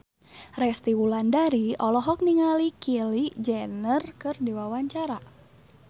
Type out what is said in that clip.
Resty Wulandari olohok ningali Kylie Jenner keur diwawancara